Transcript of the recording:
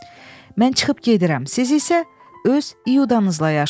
Mən çıxıb gedirəm, siz isə öz iyudanızla yaşayın.